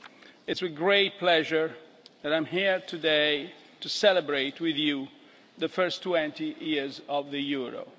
it is with great pleasure that I am here today to celebrate with you the first 20 years of the euro.